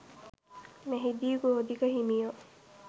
මෙහිදී ගෝධික හිමියෝ